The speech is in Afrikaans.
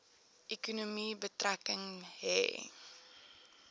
ekonomie betrekking hê